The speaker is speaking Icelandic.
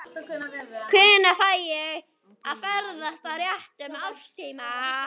Hvenær fæ ég að ferðast á réttum árstíma?